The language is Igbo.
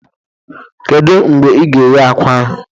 Kedu mgbe ị ga-eghe akwa ahụ?